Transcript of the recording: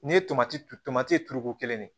N'i ye tomati tomati turuko kelen de